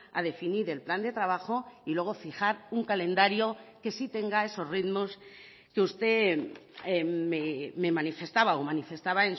a definir el plan de trabajo y luego fijar un calendario que sí tenga esos ritmos que usted me manifestaba o manifestaba